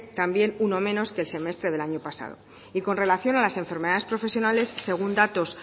también uno menos que el semestre del año pasado y con relación a las enfermedades profesionales según datos